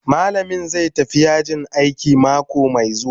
Malamin zai tafi yajin aiki mako mai zuwa.